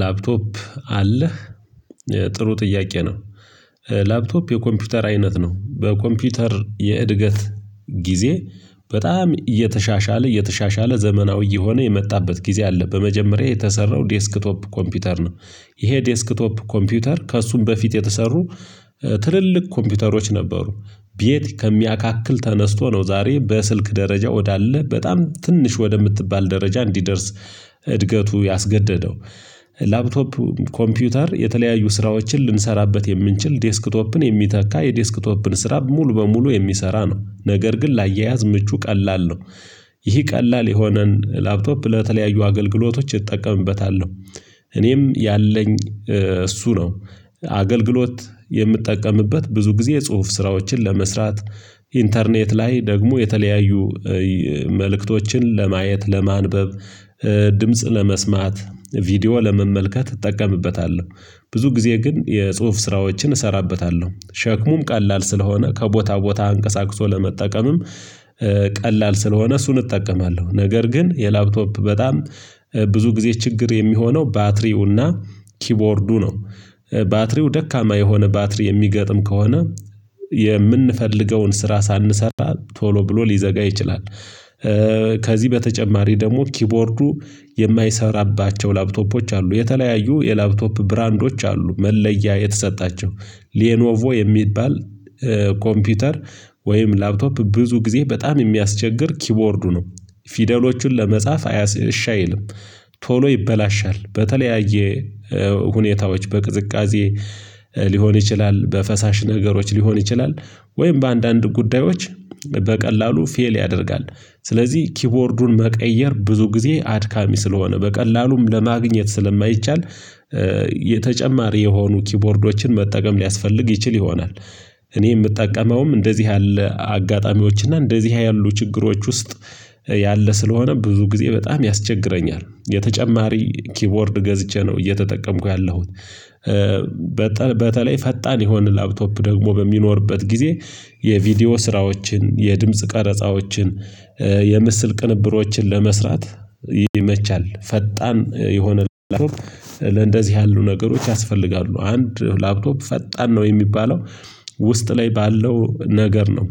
ላፕቶፕ አለህ ጥሩ ጥያቄ ነው? ላፕቶፕ የኮምፒውተር አይነት ነው በኮምፒውተር የእድገት ጊዜ በጣም እየተሻሻለ እየተሻሻለ ዘመናዊ እየሆነ የመጣበት ጊዜ አለ በመጀመሪያ የተሰራው ዴስክቶፕ ኮምፒውተር ነው። ይሄ ዴስክቶፕ ኮምፒውተር ከእሱም በፊት የተሰሩ ትልልቅ ኮምፒውተሮች ነበሩ። ቤት ከሚያካክል ተነስቶ ነው ዛሬ በስልክ ደረጃ ወዳለ በጣም ትንሽ ወደምትባል ደረጃ እንዲደርስ እድገቱ ያስገደደው። ላፕቶፕ ኮምፒውተር የተለያዩ ስራዎችን ልንሰራበት የምንችል ዴስክቶፕን የሚተካ የዴስክቶፕን ስራ ሙሉ በሙሉ የሚሰራ ነው ነገር ግን ላያያዝ ምቹ ቀላል ነው። ይህ ቀላል የሆነን ላፕቶፕ ለተለያዩ አገልግሎቶች እጠቀምበታለሁ እኔም ያለኝ እሱ ነው። አገልግሎት የምጠቀምበት ብዙ ጊዜ የጽሁፍ ስራዎችን ለመስራት ኢንተርኔት ላይ ደግሞ የተለያዩ መልእክቶችን ለማየት ለማንበብ ድምጽ ለመስማት ቪዲዮ ለመመልከት እጠቀምበታለሁ። ብዙ ጊዜ ግን የጽሁፍ ስራዎችን እሰራበታለሁ ሸክሙም ቀላል ስለሆነ ከቦታ ቦታ አንቀሳቅሶ ለመጠቀምም ቀላል ስለሆነ እሱን እጠቀማለሁ። ነገር ግን የላፕቶፕ በጣም ብዙ ጊዜ ችግር የሚሆነው ባትሪውና ኪቦርዱ ነው። ባትሪው ደካማ የሆነ ባትሪ የሚገጥም ከሆነ የምንፈልገውን ስራ ሳንሰራ ቶሎ ብሎ ሊዘጋ ይችላል። ከዚህ በተጨማሪ ደግሞ ኪቦርዱ የማይሰራባቸው ላፕቶፖች አሉ የተለያዩ የላፕቶፕ ብራንዶች አሉ መለያ የተሰጣቸው ሌኖቮ የሚባል ኮምፒውተር ወይም ላፕቶፕ ብዙ ጊዜ በጣም የሚያስቸግር ኪቦርዱ ነው። ፊደሎቹን ለመጻፍ እሺ አይልም ቶሎ ይበላሻል በተለያየ ሁኔታዎች በቅዝቃዜ ሊሆን ይችላል በፈሳሽ ነገሮች ሊሆን ይችላል። ወይም በአንዳንድ ጉዳዮች በቀላሉ ፌል ያደርጋል። ስለዚህ ኪቦርዱን መቀየር ብዙ ጊዜ አድካሚ ስለሆነ በቀላሉም ለማግኘት ስለማይቻል የተጨማሪ የሆኑ ኪቦርዶችን መጠቀም ሊያስፈልግ ይችል ይሆናል። እኔ የምጠቀመውም እንደዚህ ያለ አጋጣሚዎች እና እንደዚህ ያሉ ችግሮች ውስጥ ያለ ስለሆነ ብዙ ጊዜ በጣም ያስቸግረኛል የተጨማሪ ኪቦርድ ገዝቼ ነው እየተጠቀምኩ ያለሁት። በተለይ ፈጣን የሆነ ላፕቶፕ ደግሞ በሚኖርበት ጊዜ የቪዲዮ ስራዎችን የድምጽ ቀረጻዎችን የምስል ቅንብሮችን ለመስራት ይመቻል ፈጣን የሆነ ላፕቶፕ ለእንደዚህ ያሉ ነገሮች ያስፈልጋሉ አንድ ላፕቶፕ ፈጣን ነው የሚባለው። ውስጥ ላይ ባለው ነገር ነው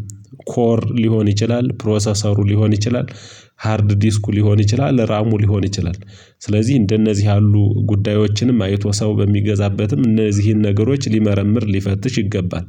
ኮር ሊሆን ይችላል ፕሮሰሰሩ ሊሆን ይችላል ሃርድ ዲስኩ ሊሆን ይችላል ራሙ ሊሆን ይችላል። ስለዚህ እንደነዚህ ያሉ ጉዳዮችንም አይቶ ሰው በሚገዛበትም እነዚህን ነገሮች ሊመረምር ሊፈትሽ ይገባል